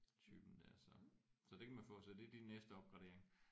Typen der så så det kan man få så det er din næste opgradering